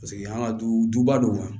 Paseke an ka duba don